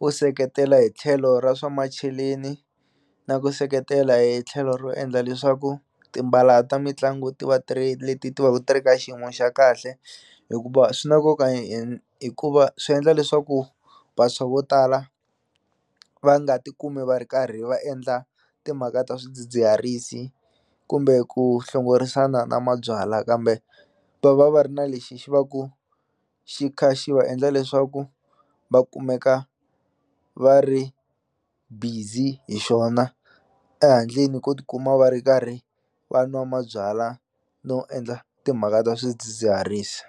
wu seketela hi tlhelo ra swa macheleni na ku seketela hi tlhelo ro endla leswaku timbala ta mitlangu ti va three leti ti va ku ti ri ka xiyimo xa kahle hikuva swi na nkoka hikuva swi endla leswaku vantshwa vo tala va nga ti kumi va ri karhi va endla timhaka ta swidzidziharisi kumbe ku hlongorisana na mabyalwa kambe va va va ri na lexi xi va ku xi kha xi va endla leswaku va kumeka va ri busy hi xona ehandleni ko tikuma va ri karhi van'wa mabyalwa no endla timhaka ta swidzidziharisi.